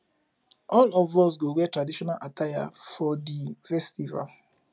all of us go wear traditional attire for di festival